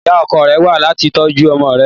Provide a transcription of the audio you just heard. Ìyá ọkọ rẹ̀ wá láti tọ́jú ọmọ rẹ